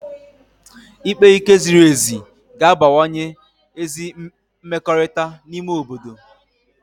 Ikpe ike ziri ezi ga-abawanye ezi mmekọrịta n'ime obodo